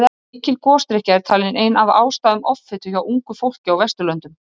Mikil gosdrykkja er talin ein af ástæðum offitu hjá ungu fólki á Vesturlöndum.